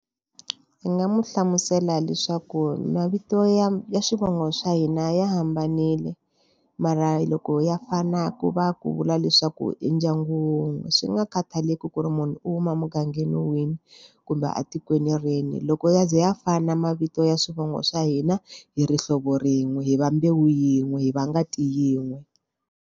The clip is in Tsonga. Ndzi nga n'wi hlamusela leswaku mavito ya ya swivongo swa hina ya hambanile, mara loko ya fana ku va ku vula leswaku i ndyangu wun'we. Swi nga khathaleki ku ri munhu u huma emugangeni wihi kumbe a tikweni rihi. Loko ya ze ya fana na mavito ya swivongo swa hina hi ri hlovo rin'we, hi va mbewu yin'we, hi va ngati yin'we.